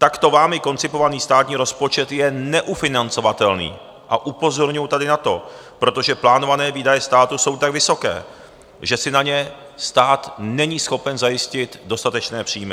Takto vámi koncipovaný státní rozpočet je neufinancovatelný a upozorňuji tady na to, protože plánované výdaje státu jsou tak vysoké, že si na ně stát není schopen zajistit dostatečné příjmy.